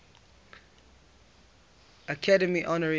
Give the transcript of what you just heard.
academy honorary award